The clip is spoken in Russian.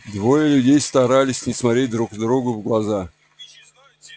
двое людей старались не смотреть друг другу в глаза